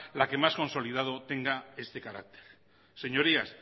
la que más consolidado tenga este carácter señorías